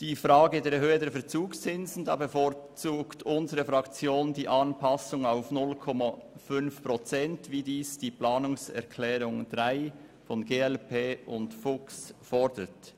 Bei der Erhöhung der Verzugszinsen bevorzugt unsere Fraktion die Anpassung auf 0,5 Prozent, wie es die Planungserklärung 3 der glp-Fraktion und von Grossrat Fuchs fordert.